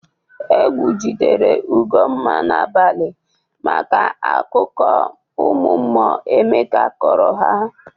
Egwu jidere Ugomma n'abalị maka akụkụ ụmụ mmụọ Emeka kọrọ ha.